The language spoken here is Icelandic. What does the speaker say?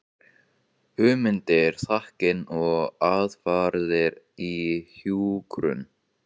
Hugmyndir, þekking og aðferðir í hjúkrun.